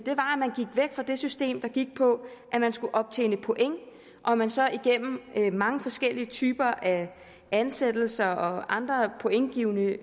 var det system der gik på at man skulle optjene point og at man så igennem mange forskellige typer af ansættelser og andre pointgivende